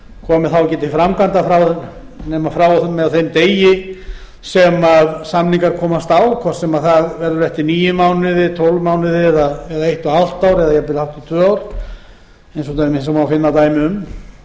komi þá ekki til framkvæmda nema frá og með þeim degi sem samningar komast á hvort sem það verður eftir níu mánuði tólf mánuði eða eitt og hálft ár eða jafnvel hátt í tvö ár eins og má finna dæmi um þarna væri